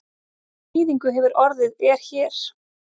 Hvað þýðingu hefur orðið er hér?